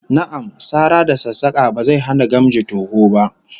Na'am, sara da sassaka ba zai hana gamji toho ba